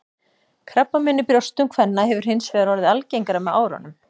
Krabbamein í brjóstum kvenna hefur hins vegar orðið algengara með árunum.